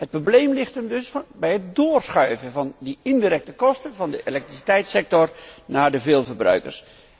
Het probleem ligt hem dus bij het doorschuiven van die indirecte kosten van de elektriciteitssector naar de veelverbruikers.